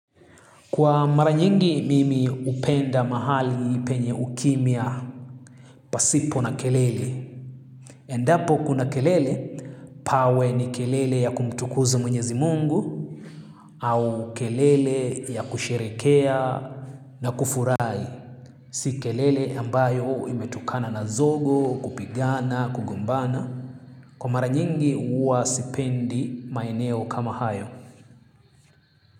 Kwa mara nyingi mimi hupenda mahali penye ukimya pasipo na kelele. Endapo kuna kelele, pawe ni kelele ya kumtukuza mwenyezi mungu au kelele ya kusherekea na kufurahi. Si kelele ambayo imetukana na zogo, kupigana, kugombana. Kwa mara nyingi huwa sipendi maeneo kama hayo.